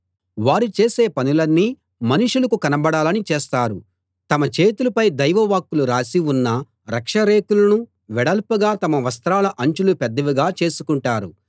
వారు చేసే పనులన్నీ మనుషులకు కనబడాలని చేస్తారు తమ చేతులపై దైవ వాక్కులు రాసి ఉన్న రక్షరేకులను వెడల్పుగా తమ వస్త్రాల అంచులు పెద్దవిగా చేసుకుంటారు